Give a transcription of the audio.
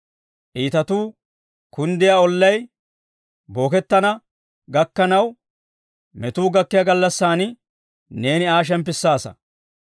Iitatuu kunddiyaa ollay bookettana gakkanaw, metuu gakkiyaa gallassan neeni Aa shemppissaasa.